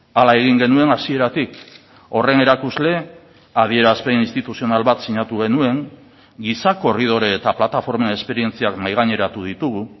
hala egin genuen hasieratik horren erakusle adierazpen instituzional bat sinatu genuen giza korridore eta plataformen esperientziak mahaigaineratu ditugu